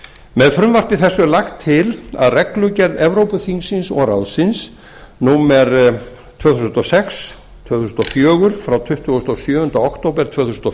með frumvarpi þessu er lagt til að reglugerð evrópuþingsins og ráðsins númer tvö þúsund og sex tvö þúsund og fjögur frá tuttugasta og sjöunda október tvö þúsund og